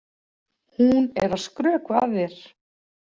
Hún er að skrökva að þér.